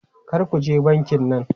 Kar ku je bankin nan!